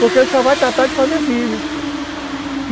Porque ele só vai tratar de fazer filho.